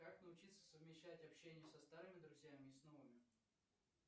как научиться совмещать общение со старыми друзьями и с новыми